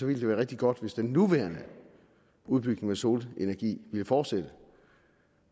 ville det være rigtig godt hvis den nuværende udbygning af solenergi ville fortsætte